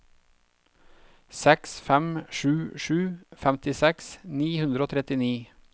seks fem sju sju femtiseks ni hundre og trettini